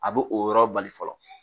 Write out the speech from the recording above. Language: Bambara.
A be o yɔrɔ bali fɔlɔ